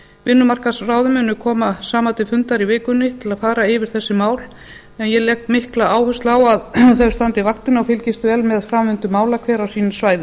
vinnumarkaðsráðin munu koma saman til fundar í vikunni til að fara yfir þessi mál en ég legg mikla áherslu á að þau standi vaktina og fylgist vel með framvindu mála hver á sínu svæði